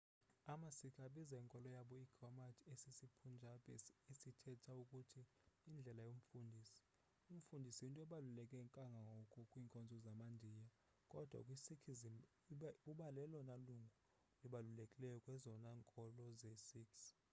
ama-sikh abiza inkolo yabo i-gurmat esisi-punjabi esithetha ukuthi indlela yomfundisi umfundisi yinto ebabuleke kangangoko kwiinkolo zama-ndiya kodwa kwi-sikhism ubalelona lungu libalulekileyo kwezona nkolo zee-sikhs